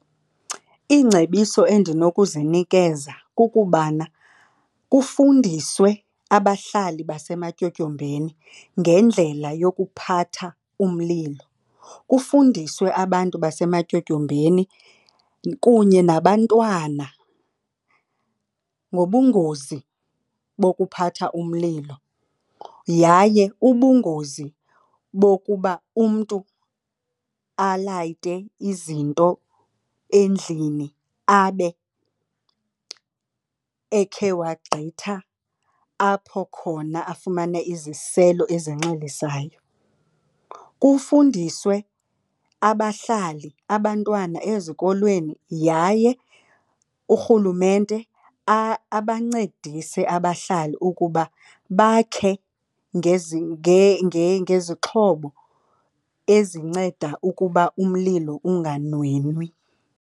Iingcebiso endinokuzinikeza kukubana kufundiswe abahlali basematyotyombeni ngendlela yokuphatha umlilo. Kufundiswe abantu basematyotyombeni kunye nabantwana ngobungozi bokuphatha umlilo yaye ubungozi bokuba umntu alayite izinto endlini abe ekhe wagqitha apho khona afumana iziselo ezinxilisayo. Kufundiswe abahlali, abantwana ezikolweni yaye uRhulumente abancedise abahlali ukuba bakhe ngezixhobo ezinceda ukuba umlilo unganwenwi